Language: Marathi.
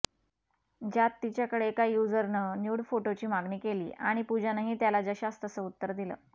ज्यात तिच्याकडे एका युझरनं न्यूड फोटोची मागणी केली आणि पूजानंही त्याला जशास तसं उत्तर दिलं